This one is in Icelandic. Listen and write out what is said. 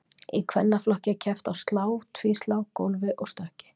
Í kvennaflokki er keppt á slá, tvíslá, gólfi og stökki.